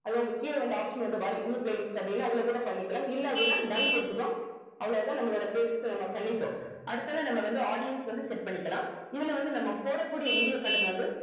அது உங்களுக்கு கீழ வந்து option வந்து வரும் new playlist அப்படின்னு அதுல கூட பண்ணிக்கலாம் இல்ல அப்படின்னா done குடுத்துட்டோம் அவ்வளவுதான் நம்மளோட playlist அ நம்ம பண்ணிட்டோம் அடுத்ததா நம்ம வந்து audience வந்து set பண்ணிக்கலாம் இதுல வந்து நம்ம போட கூடிய video content வந்து